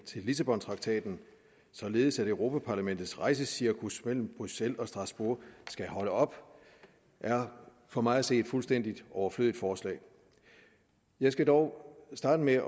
til lissabontraktaten således at europa parlamentets rejsecirkus mellem bruxelles og strasbourg skal holde op er for mig at se et fuldstændig overflødigt forslag jeg skal dog starte med at